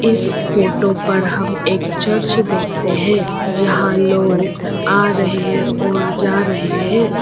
इस फोटो पर हम एक चर्च देखते है जहां लोग आ रहे है और जा रहे है।